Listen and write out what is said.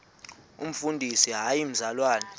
umfundisi hayi mzalwana